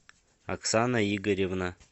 оксана игоревна